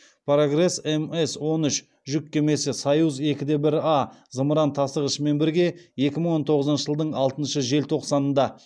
прогресс мс он үш жүк кемесі союз екі де бір а зымыран тасығышымен бірге екі мың он тоғызыншы жылдың алтыншы желтоқсанында